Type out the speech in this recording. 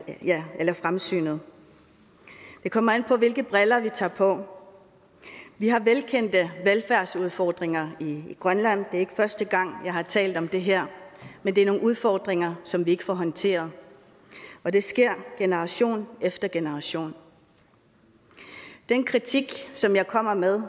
fremsynet det kommer an på hvilke briller vi tager på vi har velkendte velfærdsudfordringer i grønland og er ikke første gang jeg har talt om det her men det er nogle udfordringer som vi ikke får håndteret og det sker generation efter generation den kritik som jeg kommer med